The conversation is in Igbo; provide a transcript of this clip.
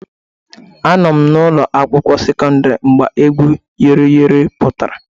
Anọ m na ụlọ akwụkwọ sekọndrị mgbe egwu Yori Yori pụtara